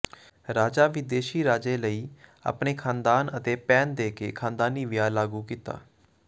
ਰਾਜਾ ਵਿਦੇਸ਼ੀ ਰਾਜੇ ਲਈ ਆਪਣੇ ਖਾਨਦਾਨ ਅਤੇ ਭੈਣ ਦੇ ਕੇ ਖ਼ਾਨਦਾਨੀ ਵਿਆਹ ਲਾਗੂ ਕੀਤਾ